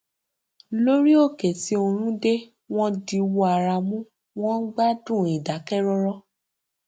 lórí òkè tí oòrùn dè wọn diwọ ara mú wọn ń gbádùn ìdákẹrọrọ